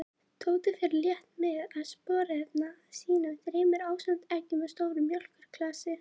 Tóti fór létt með að sporðrenna sínum þremur, ásamt eggjum og stóru mjólkurglasi.